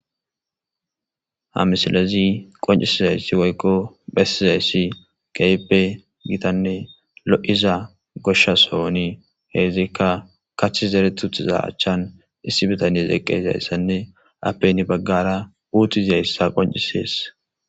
Ha misilezi qonccisizayssii woykko besizayssi keehippe giitanne lo'za goshsha sohoni heenika kaththi zerethi utiza achan issi bitane eqizayssanne appe hini bagara uuthi diyayssa qonccisees.